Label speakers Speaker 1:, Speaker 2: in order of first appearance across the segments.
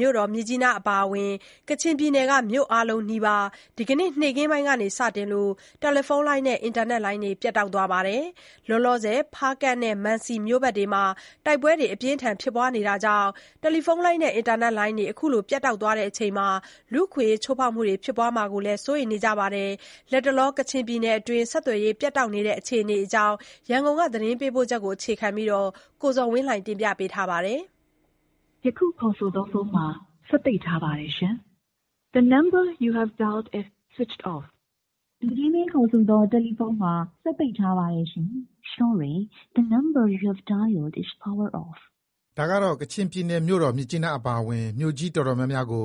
Speaker 1: မြို့တော်မြစ်ကြီးနားအပါအဝင် ကချင်ပြည်နယ်က မြို့အားလုံးနီးပါး ဒီကနေ့ နေ့ခင်းကစတင်ပြီး တယ်လီဖုန်းလိုင်းနဲ့ အင်တာနက်လိုင်းတွေ ပြတ်တောက်နေပါတယ်။ လောလောဆည် ဖားကန့်နဲ့ မံစီ စတဲ့မြို့ဘက်တွေမှာ တိုက်ပွဲတွေဖြစ်ပွားနေတာကြောင့် တယ်လီဖုန်းနဲ့ အင်တာနက်လိုင်းတွေ ပြတ်တောက်ချိန် လူ့အခွင့်အရေးချိုးဖောက်မှုတွေ ဖြစ်ပွားမှာကို စိုးရိမ်နေကြပါတယ်။ လတ်တလော ကချင်ပြည်နယ်အတွင်း ဆက်သွယ်ရေးပြတ်တောက်နေတဲ့အခြေအနေအကြောင်း သတင်းပေးပို့ချက်ကို အခြေခံပြီး ကိုဇော်ဝင်းလှိုင်က တင်ပြထားပါတယ်။ “ ယခုခေါ်ဆိုသောဖုန်းမှာ စက်ပိတ်ထားပါတယ်ရှင်…………………..လ
Speaker 2: ူကြီးမင်းခေါ်ဆိုသောဖုန်းမှာ စက်ပိတ်ထားပါတယ်ရှင်…”
Speaker 3: ဒါကတော့ ကချင်ပြည်နယ်မြို့တော် မြစ်ကြီးနားအပါအဝင် မြို့ကြီးအတော်များများကို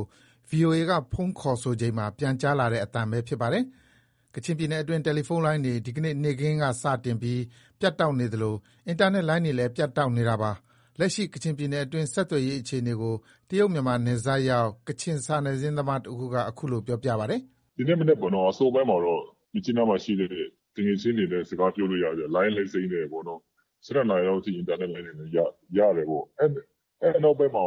Speaker 3: VOA က ဖုန်းခေါ်ဆိုချိန်မှာ ပြန်ကြားလာတဲ့ အသံပဲ ဖြစ်ပါတယ်။ ကချင်ပြည်နယ်အတွင်း တယ်လီဖုန်းလိုင်းတွေ ဒီကနေ့ နေ့ခင်းကစတင်ပြီး ပြတ်တောက်နေသလို အင်တာနက် လိုင်းတွေလည်း ပြတ်တောက်နေတာပါ။ လက်ရှိ ကချင်ပြည်နယ်အတွင်းဆက်သွယ်ရေး အခြေအနေကို တရုတ်-မြန်မာနယ်စပ်ရောက် ကချင်စာနယ်ဇင်း သမားတဦးက အခုလို ပြောပါတယ်။ “ ဒီနေ့ မနက်ပေါ့နော်၊ အစောပိုင်းမှာတ
Speaker 1: ော့ မြစ်ကြီးနားမှာရှိနေတဲ့ သူငယ်ချင်းတွေနဲ့ စကားပြောလို့ ရတယ်ဗျ။ လိုင်းလည်း စိမ်းတယ်ပေါ့နော်။ ၁၂နာရီလောက်ထိ အင်တာနက်လိုင်းတွေ ရတယ်ပေါ့။ အဲဒီနောက်ပိုင်းမှာ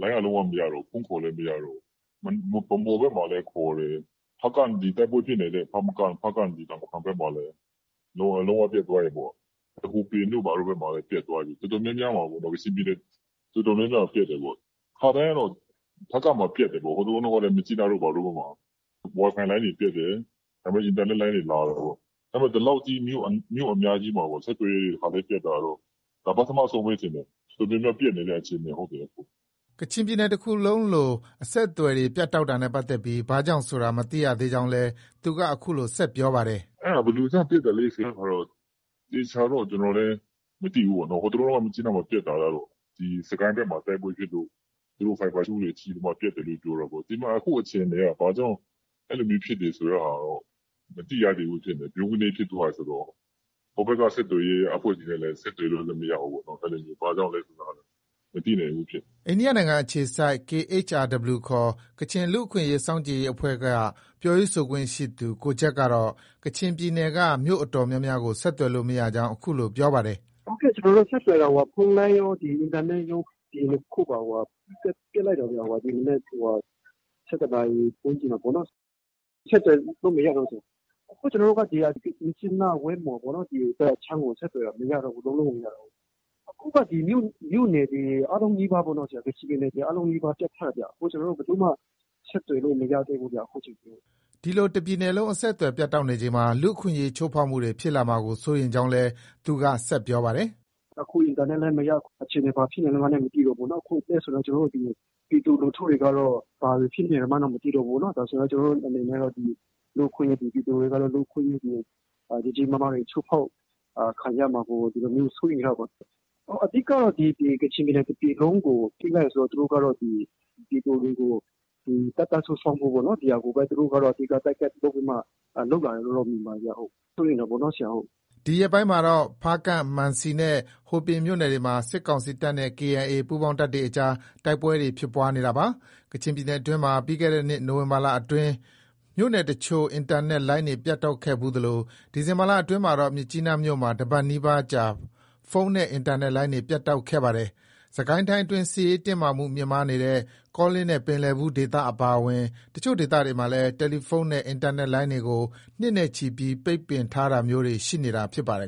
Speaker 1: လိုင်းက လုံး၀ မရတော့ဘူး။ ဖုန်းခေါ်လည်း မရတော့ဘူး။ ဗန်းမော်ဘက်မှာလည်း ခေါ်တယ်။ ဖားကန့် ဒီ တိုက်ပွဲဖြစ်နေတဲ့ ဖားကန့် တာမခန် ဘက်မှာလည်း လုံးဝပြတ်သွားတယ်ပေါ့။ ဟိုပင်တို့ ဘာတို့ဘက်မှာလည်း ပြတ်သွားပြီ။ တော်တော်များများမှာ ကချင်ပြည်နယ် တော်တော်များများမှာ ပြတ်တယ်ပေါ့။ ခါတိုင်းကတော့ ဖားကန့်မှာ ပြတ်တယ်ပေါ့။ ဟိုတလောတုံးကလည်း မြစ်ကြီးနားတို့ ဘာတို့မှာ Wi Fi လိုင်းတွေ ပြတ်တယ်။ ဒါပေမဲ့ အင်တာနက်လိုင်းတွေ လာတယ်ပေါ့။ ဒါပေမဲ့ ဒီလောက်ကြီး မြို့အများကြီးမှာ ဆက်သွယ်ရေးတွေ တခါတည်း ပြတ်တာကတော့ ဒါ ပထမဆုံးပဲ ထင်တယ်။ တော်တော်များများ ပြတ်နေတဲ့ အခြေအနေ ဟုတ်တယ်။
Speaker 3: ” ကချင်တပြည်နယ်လုံးလို အဆက်အသွယ်တွေ ပြတ်တောက်တာနဲ့ပတ်သက်ပြီး ဘာကြောင့်ဆိုတာ မသိရသေးကြောင်းလည်း သူက အခုလို ဆက်ပြောပါတယ်။
Speaker 1: “ အဲဒါ ဘယ်လိုကြောင့် ပြတ်တာလဲဆိုတာတော့ သေချာတော့ ကျနော်လည်း မသိဘူးပေါ့နော်။ ဟိုတလောတုံးက မြစ်ကြီးနားမှာ ပြတ်တာကတော့ ဒီ စစ်ကိုင်းဘက်မှာ တိုက်ပွဲဖြစ်လို့ သူတို့ ဖိုက်ဘာ ကြိုးတွေ ထိပြီးမှ ပြတ်တယ်လို့ ပြောတာပေါ့။ ဒီမှာ အခုအခြေအနေက ဘာကြောင့် အဲလိုမျိုး ဖြစ်တယ်ဆိုတဲ့ဟာ မသိရသေးဘူးဖြစ်နေတယ်။ ဗြုန်းကနဲ ဖြစ်သွားတယ်ဆိုတော့ ဟိုဘက်က ဆက်သွယ်ရေး အဖွဲ့တွေနဲ့လည်း ဆက်သွယ်လို့လည်း မရဘူးပေါ့နော်။ အဲဒါကြောင့် ဘာကြောင့်လဲဆိုတာ မသိနိုင်ဘူးဖြစ်နေတ
Speaker 3: ာ။ ” အိန္ဒိယနိုင်ငံအခြေစိုက် KHRW ခေါ် ကချင်လူ့အခွင့်အရေး စောင့်ကြည့်ရေးအဖွဲ့က ပြောရေးဆိုခွင့်ရှိသူ ကိုဂျက်ကော့ကလည်း ကချင်ပြည်နယ်က မြို့အတော်များများကို ဆက်သွယ်လို့ မရကြောင်း အခုလို ပြောပါတယ်။
Speaker 2: “ ဟုတ် ကျနော်တို့ ဆက်သွယ်တာ ဖုန်းလိုင်းရော၊ အင်တာနက်ရော ဒီနှစ်ခုမှာ ပြတ်လိုက်တာဗျ။ ဒီမနက် ၁၁နာရီ ဝန်းကျင်မှာပေါ့နော်။ ဆက်သွယ်လို့ မရတော့ဘူး။ အခုက ကျနော်တို့က ဒီ မြစ်ကြီးနား၊ ဝိုင်းမော် ဒီဘက်အခြမ်းကို ဆက်သွယ်တာ မရတော့ဘူး။ လုံးလုံးကို မရတော့ဘူး။ အခုက မြို့နယ်တွေအားလုံးနီးပါးပေါ့၊ ကချင်ပြည်နယ်မှာ အားလုံးနီးပါး ပြတ်ထားတာဗျ။ အခု ကျနော်တို့ ဘယ်သူမှ ဆက်သွယ်လို့ မရတော့ဘူးဗျ အခုထက်ထိ။
Speaker 3: ” ဒီလို တပြည်နယ်လုံး အဆက်အသွယ်ပြတ်တောက်နေချိန်မှာ လူ့အခွင့်အရေး ချိုးဖောက်မှုတွေ ဖြစ်လာမှာကို စိုးရိမ်ကြောင်းလည်း သူက ဆက်ပြောပါတယ်
Speaker 2: ။ “ အခုအင်တာနက်လိုင်းလည်း မရ။ အခြေအနေ ဘာဖြစ်နေမှန်းလည်း မသိတော့ဘူးနော်။ အဲဒါဆိုတော့ ကျနော်တို့ ဒီ ပြည်သူလူထုတွေကတော့ ဘာတွေဖြစ်နေမှန်း မသိတော့ဘူးနော်။ ဒီတော့ ကျနော်တို့ အနေနဲ့ကတော့ ပြည်သူတွေကတော့ လူ့အခွင့်အရေးတွေ ကြီးကြီးမားမားတွေ ချိုးဖောက်ခံရမှာကို ဒီလိုမျိုး စိုးရိမ်ရတာပေါ့။ အဓိကတော့ ဒီ ကချင်ပြည်နယ် တပြည်လုံးကို ပိတ်လိုက်တယ်ဆိုတော့ သူတို့ကတော့ ဒီ ပြည်သူတွေကို တပ်သား စုဆောင်းဖို့ပေါ့နော်၊ ဒီဟာကိုပဲ Target ထားပြီးမှ လုပ်လာတယ်လို့တော့ မြင်ပါတယ်ဗျ။ စိုးရိမ်တာပေါ့နော်။
Speaker 3: ” ဒီရက်ပိုင်းမှာတော့ ဖားကန့်၊ မံစီနဲ့ ဟိုပင်မြို့နယ်တွေမှာ စစ်ကောင်စီတပ်နဲ့ KIA ပူးပေါင်းတပ်တွေအကြား တိုက်ပွဲတွေ ဖြစ်ပွားနေတာပါ။ ကချင်ပြည်နယ်အတွင်းမှာ ပြီးခဲ့တဲ့နှစ် နိုဝင်ဘာလအတွင်းမှာ မြို့နယ်အချို့ အင်တာနက် လိုင်းတွေ ပြတ်တောက်ခဲ့ဖူးသလို ဒီဇင်ဘာလ အတွင်းမှတော့ မြစ်ကြီးနားမြို့မှာ တပတ်နီးပါးကြာ ဖုန်းနဲ့ အင်တာနက်လိုင်းတွေ ပြတ်တောက်ခဲ့ပါတယ်။ စစ်ကိုင်းတိုင်းအတွင်း စစ်ရေး လှုပ်ရှားမှု မြင့်မားခဲ့တဲ့ ကောလင်းနဲ့ ပင်လည်ဘူး ဒေသအပါအဝင် အချို့ဒေသတွေမှာလည်း တယ်လီဖုန်းနဲ့ အင်တာနက်လိုင်းတွေကို နှစ်နဲ့ချီပြီး ပိတ်ပင်ထားတာမျိုးတွေ ရှိနေတာဖြစ်ပါတယ်